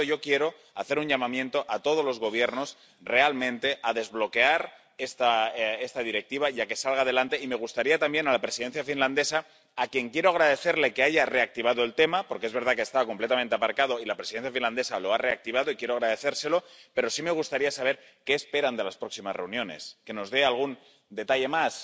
Por lo tanto, yo quiero hacer un llamamiento a todos los Gobiernos a que realmente desbloqueen esta Directiva para que salga adelante. Desearía también dirigirme a la Presidencia finlandesa —a quien quiero agradecerle que haya reactivado el tema, porque es verdad que estaba completamente aparcado y la Presidencia finlandesa lo ha reactivado y quiero agradecérselo—, para saber qué espera de las próximas reuniones. Que nos dé algún detalle más.